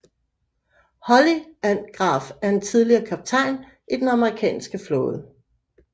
Holly Ann Graf er en tidligere kaptajn i Den amerikanske flåde